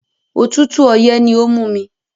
Òtútù ọyẹ́ ni ó mú mi.